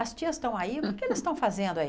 As tias estão aí, o que é que eles estão fazendo aí?